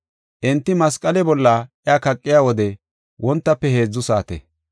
Enti masqale bolla iya kaqiya wode wontafe heedzu saate.